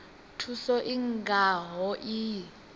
thuso i nga ho iyi